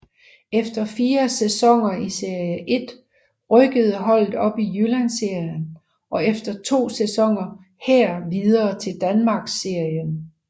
Efter fire sæsoner i Serie 1 rykkede holdet op i Jyllandsserien og efter to sæsoner her videre til Danmarksserien